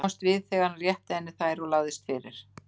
Hann komst við þegar hann rétti henni þær og lagðist fyrir.